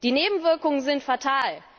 Die Nebenwirkungen sind fatal.